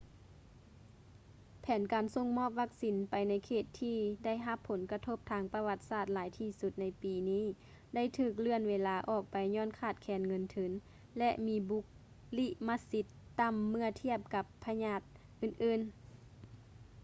ແຜນການສົ່ງມອບວັກຊີນໄປໃນເຂດທີ່ໄດ້ຮັບຜົນກະທົບທາງປະຫວັດສາດຫຼາຍທີ່ສຸດໃນປີນີ້ໄດ້ຖືກເລື່ອນເວລາອອກໄປຍ້ອນຂາດແຄນເງິນທຶນ ແລະ ມີບຸລິມະສິດຕໍ່າເມື່ອທຽບກັບພະຍາດອື່ນໆ